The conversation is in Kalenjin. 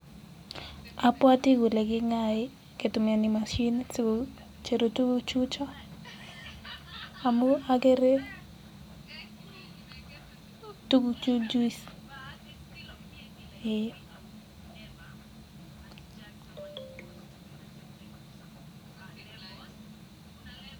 apwatii ale kingaai kokichopagiis tukchutok eee